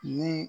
Ni